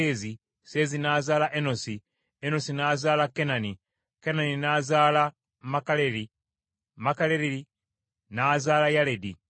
Enosi n’azaala Kenani, Kenani n’azaala Makalaleri, Makalaleri n’azaala Yaledi;